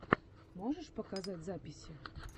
можешь показать записи